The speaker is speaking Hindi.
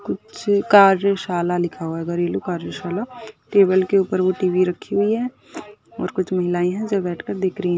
कुछ कार्यशाला लिखा हुआ घरेलू कार्यशाला। टेबल के ऊपर वह टी वी रखी हुई है और कुछ महिलाये हैं जो बैठ कर देख रही --